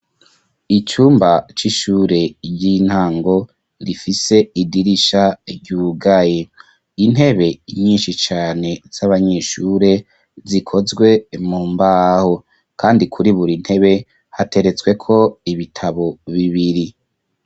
Icumba c'ishure, ry'intango, rifise idirisha ryugaye; intebe nyinshi cane, z'abanyeshure, zikozwe mu mbaho; kandi, kuri buri ntebe, hateretsweko ibitabo bibiri.